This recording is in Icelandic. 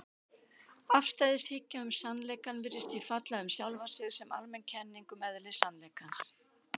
Afstæðishyggja um sannleikann virðist því falla um sjálfa sig sem almenn kenning um eðli sannleikans.